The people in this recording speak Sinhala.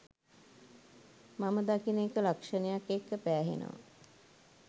මම දකින එක ලක්ෂණයක් එක්ක පෑහෙනව